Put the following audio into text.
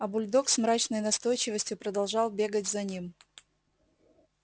а бульдог с мрачной настойчивостью продолжал бегать за ним